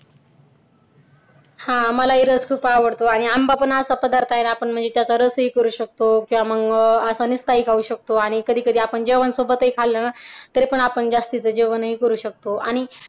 हा मलाही रस खूप आवडतो आणि आंबा पण असा पदार्थ आहे ना म्हणजे चर्चा रसही करू शकतो किंवा मग काय पाहू शकतो आणि कधीकधी आपण जेव्हा सोबतही खाल्ला ना तरीपण आपण जास्तीच जेवणही करू शकतो आणि